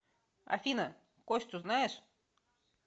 афина костю знаешь